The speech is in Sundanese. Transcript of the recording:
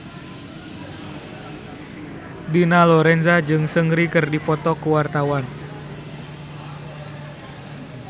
Dina Lorenza jeung Seungri keur dipoto ku wartawan